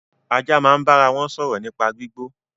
Ajá máa ń bára wọn sọ̀rọ̀ nípa gbígbó